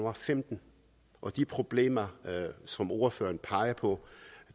og femten og de problemer som ordføreren peger på